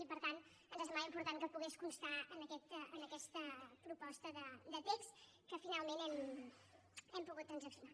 i per tant ens semblava important que pogués constar en aquesta proposta de text que finalment hem pogut transaccionar